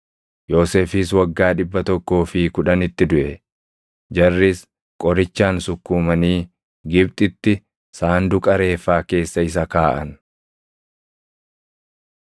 Yoosefis waggaa dhibba tokkoo fi kudhanitti duʼe. Jarris qorichaan sukkuumanii Gibxitti sanduuqa reeffaa keessa isa kaaʼan.